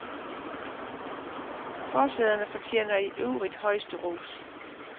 Forsæderne fortjener i øvrigt højeste ros.